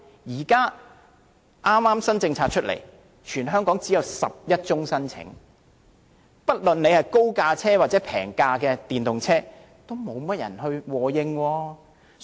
當局推出新政策後，全港只有11宗申請，不論是高價還是低價的電動車，似乎也無人和應。